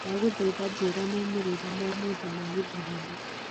ndaguthitha njira moimĩrĩra ma umuthi ma githurano